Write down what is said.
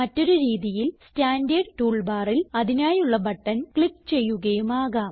മറ്റൊരു രീതിയിൽ standard tool ബാറിൽ അതിനായുള്ള ബട്ടൺ ക്ലിക്ക് ചെയ്യുകയും ആകാം